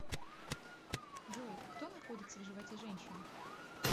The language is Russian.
джой кто находится в животе женщины